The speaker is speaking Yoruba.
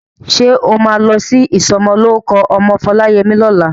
Ṣé o máa lọ sí ìsọmọlórúkọ ọmọ Foláyẹmí lọ́la?